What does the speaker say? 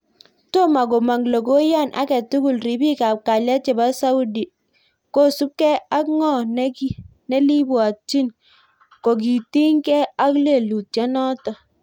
Toma komang logoiyan age tugul ripik ap kalyet chepo Saudia kosupkei ak ng'o nelibwatchin kokitiny gei ka lelutyiot notok